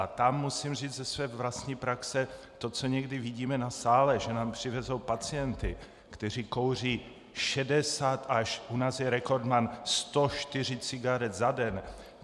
A tam musím říct ze své vlastní praxe, to, co někdy vidíme na sále, že nám přivezou pacienty, kteří kouří 60 až - u nás je rekordman 104 cigaret za den!